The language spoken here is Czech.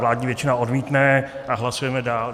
Vládní většina odmítne a hlasujeme dál.